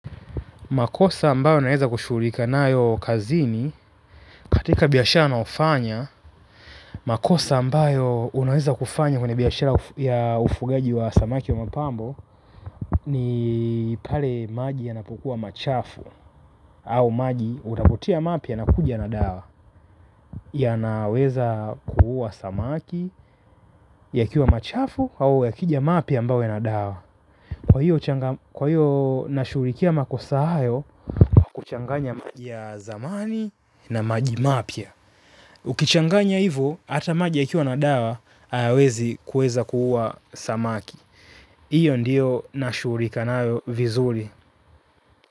Makosa ambayo naweza kushughulika nayo kazini, katika biashara naofanya. Makosa ambayo unaweza kufanya kwenye biashara ya ufugaji wa samaki wa mapambo ni, pale maji yanapokua machafu, au maji unapotia mapi ya nakuja na dawa. Yanaweza kuua samaki, yakiwa machafu, au ya kija map ya ambao yana dawa. Kwa hiyo nashghurikia makosa hayo, kuchanganya maji ya zamani na maji mapya. Ukichanganya hivo, hata maji yakiwa na dawa, hayawezi kueza kuuwa samaki. Hiyo ndiyo nashuhurika nayo, vizuri.